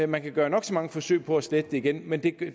man kan gøre nok så mange forsøg på at slette det igen men det